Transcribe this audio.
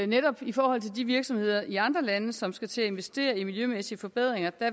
netop i forhold til de virksomheder i andre lande som skal til at investere i miljømæssige forbedringer